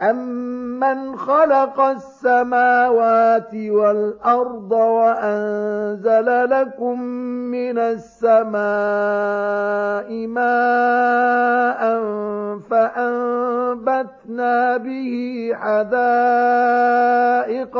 أَمَّنْ خَلَقَ السَّمَاوَاتِ وَالْأَرْضَ وَأَنزَلَ لَكُم مِّنَ السَّمَاءِ مَاءً فَأَنبَتْنَا بِهِ حَدَائِقَ